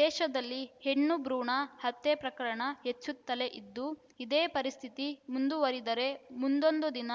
ದೇಶದಲ್ಲಿ ಹೆಣ್ಣು ಭ್ರೂಣ ಹತ್ಯೆ ಪ್ರಕರಣ ಹೆಚ್ಚುತ್ತಲೇ ಇದ್ದು ಇದೇ ಪರಿಸ್ಥಿತಿ ಮುಂದುವರಿದರೆ ಮುಂದೊಂದು ದಿನ